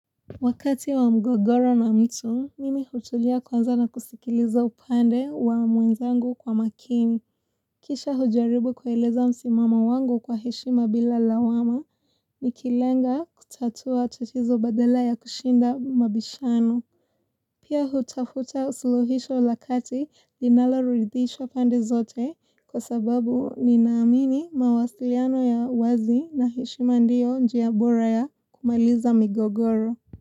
Wakati wa mgogoro na mtu, mimi hutulia kwanza na kusikiliza upande wa mwenzangu kwa makini. Kisha hujaribu kueleza msimamo wangu kwa heshima bila lawama ni kilenga kutatua tatizo badala ya kushinda mabishano. Pia hutafuta suluhisho la kati vinalo ridhisha pande zote kwa sababu ninaamini mawasiliano ya wazi na heshima ndiyo njia bora ya kumaliza mgogoro.